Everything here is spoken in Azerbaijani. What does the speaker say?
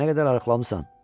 Nə qədər arıqlamısan?